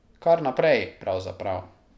Kar naprej, pravzaprav.